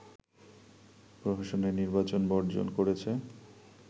প্রহসনের নির্বাচন বর্জন করেছে